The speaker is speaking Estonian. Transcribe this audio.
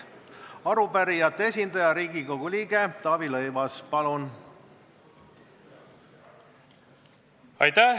Arupärijate esindaja Riigikogu liige Taavi Rõivas, palun!